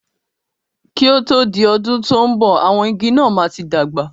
Kí o tó di ọdún tò ń bọ̀, àwọn igi náà máa tí dàgbà